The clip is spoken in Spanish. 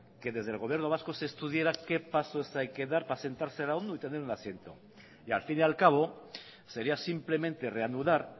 que desde el gobierno vasco se estudiara qué pasos hay que dar para sentarse en la onu y tener un asiento y al fin y al cabo sería simplemente reanudar